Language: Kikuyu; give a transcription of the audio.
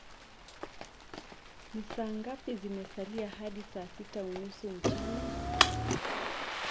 ni saa ngapi zimesalia hadi saa sita unusu mchana